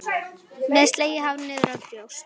Með slegið hár niðrá brjóst.